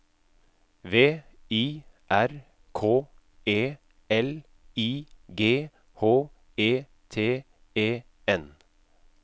V I R K E L I G H E T E N